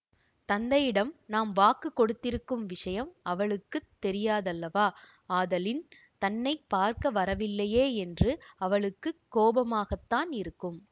தந்தையிடம் நாம் வாக்கு கொடுத்திருக்கும் விஷயம் அவளுக்கு தெரியாதல்லவா ஆதலின் தன்னை பார்க்க வரவில்லையே என்று அவளுக்குக் கோபமாகத்தான் இருக்கும்